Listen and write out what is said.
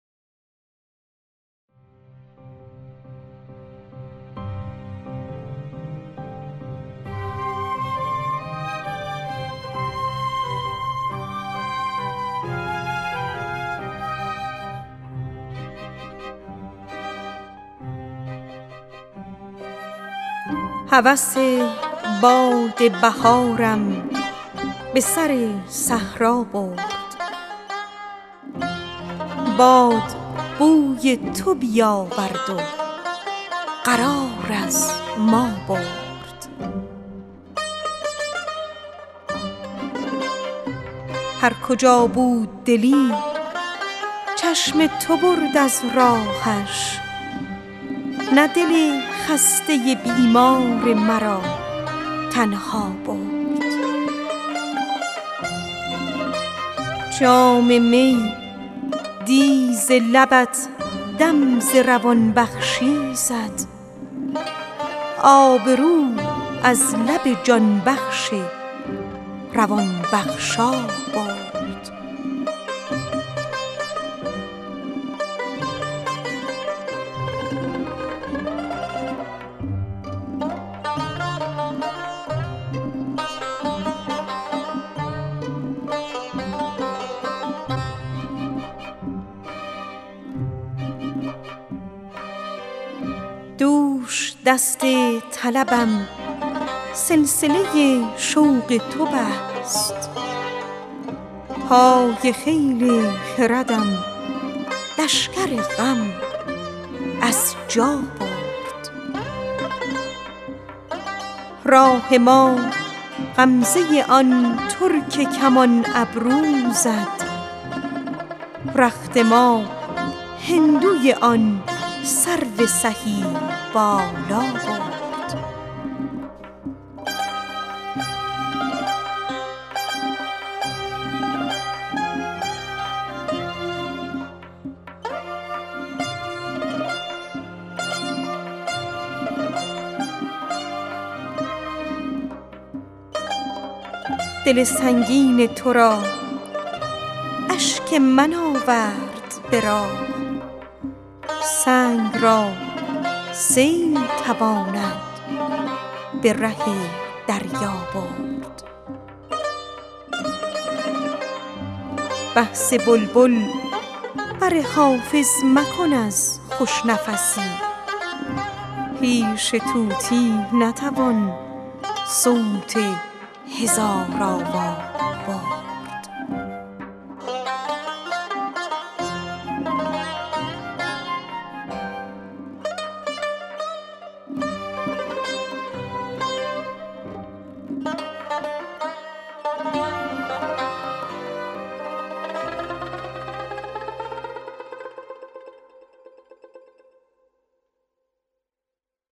هوس باد بهارم به سوی صحرا برد باد بوی تو بیاورد و قرار از ما برد هرکجا بود دلی چشم تو برد از راهش نه دل خسته بیمار مرا تنها برد آمد و گرم ببرد آب رخم اشک چو سیم زر به زر داد کسی کامد و این کالا برد دل سنگین ترا اشک من آورد به راه سنگ را سیل تواند به لب دریا برد دوش دست طربم سلسله شوق تو بست پای خیل خردم لشکر غم از جا برد راه ما غمزه آن ترک کمان ابرو زد رخت ما هندوی آن سرو سهی بالا برد جام می پیش لبت دم ز روان بخشی زد آب وی آن لب جان بخش روان افزا برد بحث بلبل بر حافظ مکن از خوش سخنی پیش طوطی نتوان نام هزارآوا برد